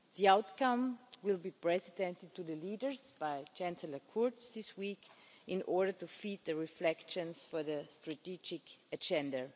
The outcome will be presented to the leaders by Chancellor Kurz this week in order to further reflections on the strategic agenda.